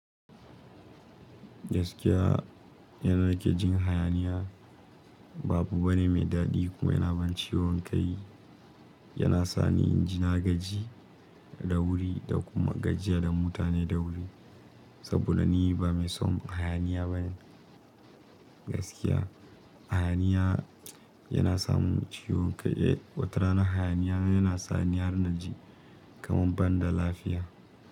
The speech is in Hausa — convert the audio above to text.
Gaskiya yanda nake jin hayaniya ba abu bane mai daɗi kuma yana ban ciyon kai. Yana sa ni in ji nagaji da wuri da kuma gajiya da mutane da wuri. Saboda ni ba mai son hayaniya bane gaskiya. Hayaniya yana sa mun ciwo kai. Watarana hayaniya yana sa ni har naji kaman ban da lafiya.